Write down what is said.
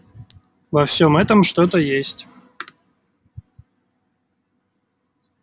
во всем этом что-то есть